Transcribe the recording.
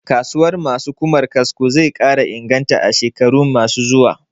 Kasuwar ma su Ƙumar kasko zai ƙara inganta a shekarun ma su zuwa